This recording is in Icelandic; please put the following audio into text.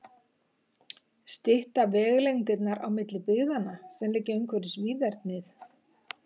Stytta vegalengdirnar á milli byggðanna, sem liggja umhverfis víðernið?